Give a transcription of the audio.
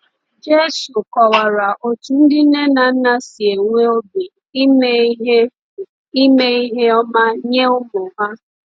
Jésù kọwara otú ndị nne na nna si enwe obi ime ihe ime ihe ọma nye ụmụ ha.